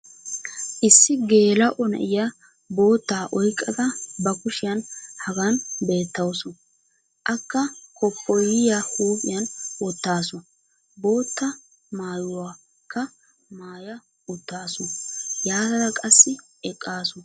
issi geela'o na'iya boottaa oyqqada ba kushshiyani hagan beettawusu. akka koppoyiya huuphiyan wotaasu. bootta maayuwakka maaya utaasu. yaatada qassi eqaasu